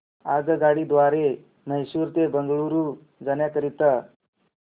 आगगाडी द्वारे मैसूर ते बंगळुरू जाण्या करीता